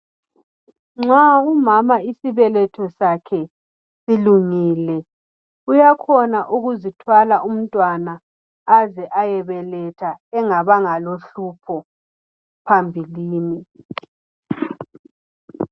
Nxa umama isibeletho sakhe silungile uyakhona ukuzithwala umntwana aze ayebeletha engabanga lohlupho phambilini